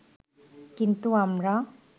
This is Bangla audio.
কিন্তু আমরা